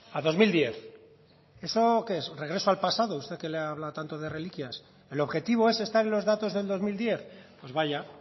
a dos mil diez eso que es regreso al pasado usted que habla tanto de reliquias el objetivo es estar en los datos del dos mil diez pues vaya